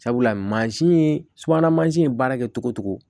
Sabula mansin ye subahana mansin ye baara kɛ cogo o cogo